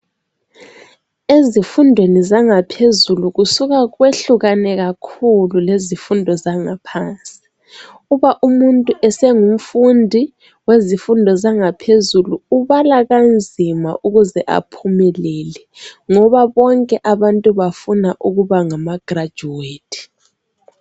Ezifundweni zangaphezulu kusuka kwehlukane kakhulu lezifundo zangaphansi uba umuntu esengumfundi wezifundo yangaphezulu ubala kanzima ukuze aphumelele ngoba bonke abantu bafuna ukuba ngama graduate.